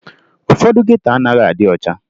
Ụfọdụ geto anaghị adị ọcha